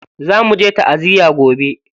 Za muje ta'aziya gobe.